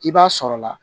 I b'a sɔrɔla